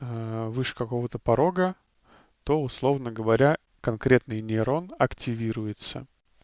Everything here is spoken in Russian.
вышка кого-то порога то условно говоря конкретный нейрон активируется